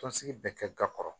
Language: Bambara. Tɔnsigi bɛ kɛ ga kɔrɔ